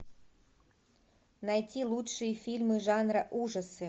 найти лучшие фильмы жанра ужасы